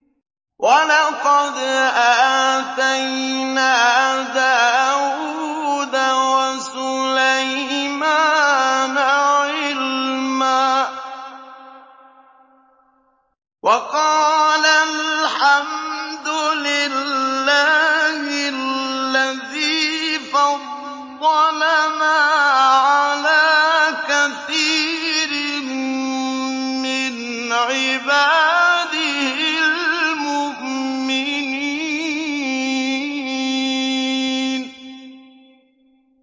وَلَقَدْ آتَيْنَا دَاوُودَ وَسُلَيْمَانَ عِلْمًا ۖ وَقَالَا الْحَمْدُ لِلَّهِ الَّذِي فَضَّلَنَا عَلَىٰ كَثِيرٍ مِّنْ عِبَادِهِ الْمُؤْمِنِينَ